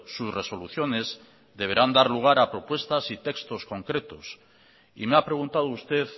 sus resoluciones deberán dar lugar a propuestas y textos concretos y me ha preguntado usted